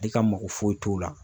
Ale ka mago foyi t'o la